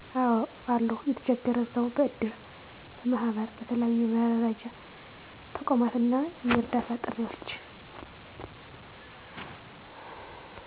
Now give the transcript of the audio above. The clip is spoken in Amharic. አዎ አሉ የተቸገረን ሰዉ በእድር፣ በማህበር በተለያዩ የመረዳጃ ተቋማት እና የእርዳታ ጥሪዎች